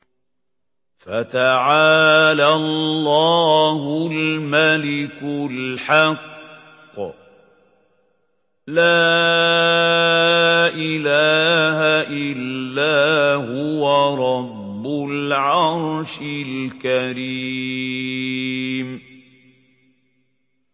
فَتَعَالَى اللَّهُ الْمَلِكُ الْحَقُّ ۖ لَا إِلَٰهَ إِلَّا هُوَ رَبُّ الْعَرْشِ الْكَرِيمِ